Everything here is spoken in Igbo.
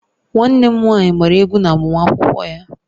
Nwanne m nwanyị gbara egwu na agbamakwụkwọ ya